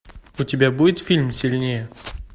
у тебя будет фильм сильнее